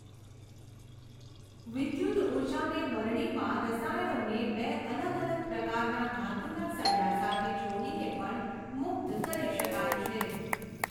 વિદ્યુતઊર્જાને બરણીમાં રસાયણોને બે અલગ અલગ પ્રકારના ધાતુના સળિયા સાથે જોડીને પણ મુક્ત કરી શકાય છે.